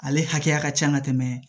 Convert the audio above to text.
Ale hakɛya ka ca ka tɛmɛ